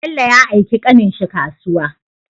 Bello ya aiki ƙanin shi kasuwa